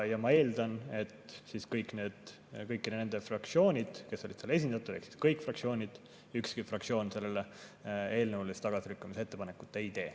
Ja ma eeldan, et siis kõik need fraktsioonid, kes olid seal esindatud, ehk kõik fraktsioonid ükski fraktsioon selle eelnõu tagasilükkamise ettepanekut ei tee.